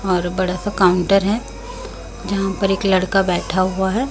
और बड़ा सा काउंटर है जहां पर एक लड़का बैठा हुआ है।